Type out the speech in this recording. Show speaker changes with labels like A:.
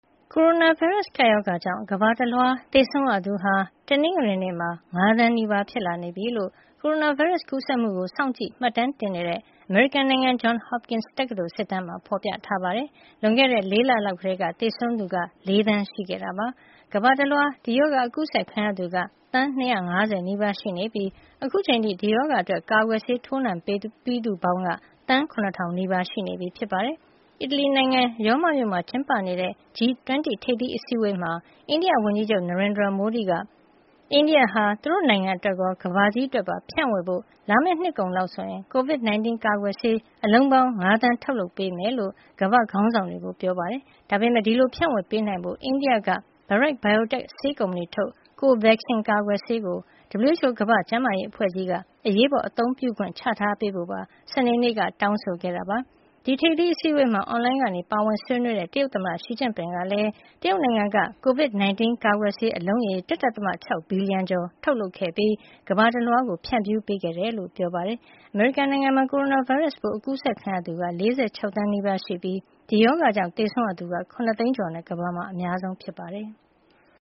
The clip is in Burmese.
A: ကိုရိုနာဗိုင်းရပ်စ် ကပ်ရောဂါကြောင့် ကမ္ဘာတလွှား သေဆုံးရသူဟာ တနင်္ဂနွေနေ့မှာ ၅ သန်းနီးပါး ဖြစ်လာနေပြီလို့ ကိုရိုနာဗိုင်းရပ်စ် ကူးစက်မှုကို စောင့်ကြည့် မှတ်တမ်းတင်နေတဲ့ အမေရိကန် Johns Hopkins တက္ကသိုလ် စစ်တမ်းမှာ ဖော်ပြထားပါတယ်။ လွန်ခဲ့တဲ့ ၄ လလောက်ကတည်းက သေဆုံးသူက ၄ သန်း ရှိခဲ့တာပါ။ ကမ္ဘာတလွှား ဒီရောဂါ အကူးစက်ခံရသူက သန်း ၂၅၀ နီးပါး ရှိနေပြီး အခုအချိန်အထိ ဒီရောဂါအတွက် ကာကွယ်ဆေး ထိုးနှံပြီးသူပေါင်းက သန်း ၇,၀၀၀ နီးပါး ရှိပြီဖြစ်ပါတယ်။ အီတလီနိုင်ငံ ရောမမြို့မှာ ကျင်းပနေတဲ့ G-20 ထိပ်သီးအစည်းအဝေးမှာ အိန္ဒိယဝန်ကြီးချုပ် Narendra Modi က အိန္ဒိယဟာ သူ့နိုင်ငံအတွက်ရော ကမ္ဘာကြီးအတွက်ပါ ဖြန့်ဝေဖို့ လာမယ့်နှစ်ကုန်လောက်ဆို COVID-19 ကာကွယ်ဆေး အလုံးပေါင်း ၅ သန်း ထုတ်လုပ်ပေးမှာဖြစ်ကြောင်း ကမ္ဘာ့ခေါင်းဆောင်တွေကို ပြောကြားခဲ့ပါတယ်။ ဒါပေမယ့် ဒီလို ဖြန့်ဝေပေးနိုင်ဖို့ အိန္ဒိယက Bharat Biotech ဆေးကုမ္ပဏီထုတ် Covaxin ကာကွယ်ဆေးကို WHO ကမ္ဘာ့ကျန်းမာရေးအဖွဲ့ကြီးက အရေးပေါ် အသုံးပြုခွင့် ချထားပေးဖို့ပါ စနေနေ့က တောင်းဆိုခဲ့ပါတယ်။ ဒီထိပ်သီးအစည်းအဝေးမှာ အွန်လိုင်းကနေ ပါဝင်ဆွေးနွေးတဲ့ တရုတ်သမ္မတ Xi Jinping ကလည်း တရုတ်နိုင်ငံက COVID-19 ကာကွယ်ဆေး အလုံးရေ ၁ ဒသမ ၆ ဘီလီယံကျော် ထုတ်လုပ်ခဲ့ပြီး ကမ္ဘာတလွှား ဖြန့်ဖြူးပေးခဲ့ကြောင်း ပြောပါတယ်။ အမေရိကန်နိုင်ငံမှာ ကိုရိုနာဗိုင်းရပ်စ်ပိုး အကူးစက်ခံရသူ ၄၆ သန်းနီးပါးရှိနေပြီး ဒီရောဂါကြောင့် သေဆုံးရသူက ၇ သိန်းကျော်နဲ့ ကမ္ဘာမှာ အများဆုံး ဖြစ်ပါတယ်။